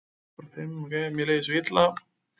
Mér líður svo illa